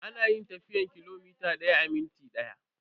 Ana yin tafiyan kilomita daya a minti daya.